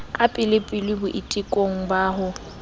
ka pelepele boitekong ba ho